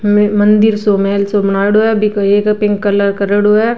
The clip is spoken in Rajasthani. मंदिर सो महल सो बनायोडो है बीके एक पिंक कलर करियोडो है।